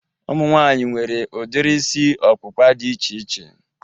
Ụmụ nwaanyị nwere udiri isi ọkpụkpa dị iche iche